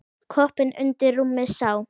Koppinn undir rúmi sá.